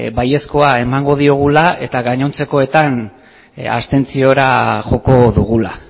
baiezkoa emango diogula eta gainontzekoetan abstentziora joko dugula